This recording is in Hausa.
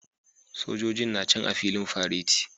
Sojojin na can a filin fareti